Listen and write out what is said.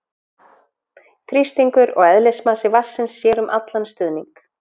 Þrýstingur og eðlismassi vatnsins sér um allan stuðning.